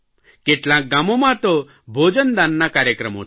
કેટલાંક ગામોમાં તો ભોજન દાનના કાર્યક્રમો થયા